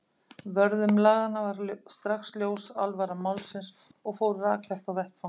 Vörðum laganna var strax ljós alvara málsins og fóru rakleitt á vettvang.